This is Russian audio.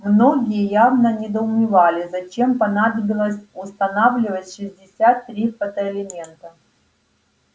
многие явно недоумевали зачем понадобилось устанавливать шестьдесят три фотоэлемента